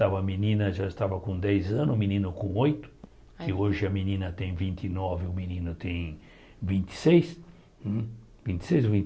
A menina já estava com dez anos, o menino com oito, que hoje a menina tem vinte e nove, o menino tem vinte e seis hum vinte e seis ou